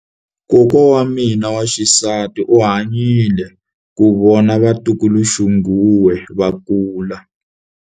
Kokwa wa mina wa xisati u hanyile ku vona vatukuluxinghuwe va kula.